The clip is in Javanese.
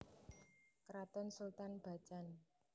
Kraton Sultan Bacan